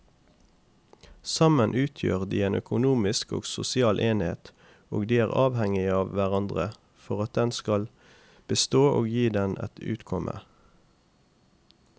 Sammen utgjør de en økonomisk og sosial enhet og de er avhengige av hverandre for at den skal bestå og gi dem et utkomme.